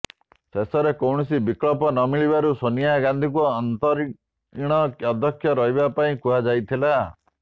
ଶେଷରେ କୌଣସି ବିକଳ୍ପ ନମିଳିବାରୁ ସୋନିଆ ଗାନ୍ଧିଙ୍କୁ ଅନ୍ତରୀଣ ଅଧ୍ୟକ୍ଷ ରହିବା ପାଇଁ କୁହାଯାଇଥିଲା